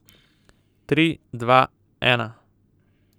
Tri, dva, ena.